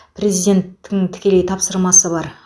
президенттің тікелей тапсырмасы бар